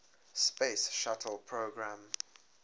space shuttle program